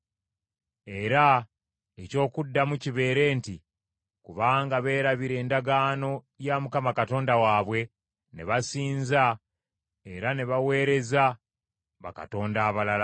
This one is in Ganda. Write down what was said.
Era eky’okuddamu kibeere nti, ‘Kubanga beerabira endagaano ya Mukama Katonda waabwe ne basinza era ne baweereza bakatonda abalala.’ ”